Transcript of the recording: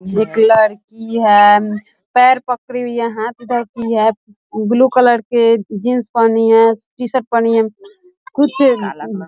एक लड़की है मम पैर पकड़ी हुई है हांथ उधर की है ब्लू कलर के जींस पहनी है टी-शर्ट पहनी है कुछ --